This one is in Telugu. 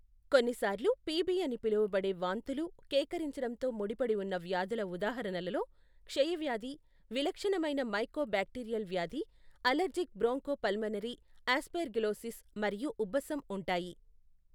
కొన్నిసార్లు పిబి అని పిలువబడే వాంతులు, కేకరించడంతో ముడిపడి ఉన్న వ్యాధుల ఉదాహరణలలో క్షయవ్యాధి, విలక్షణమైన మైకోబాక్టీరియల్ వ్యాధి, అలెర్జిక్ బ్రోంకోపల్మనరీ ఆస్పెర్గిలోసిస్ మరియు ఉబ్బసం ఉంటాయి.